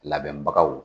Labɛnbagaw